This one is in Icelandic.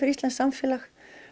íslenskt samfélag